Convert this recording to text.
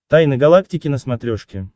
тайны галактики на смотрешке